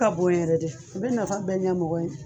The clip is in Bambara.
Ka bon yɛrɛ de. A be nafa bɛɛ ɲɛ mɔgɔ ye.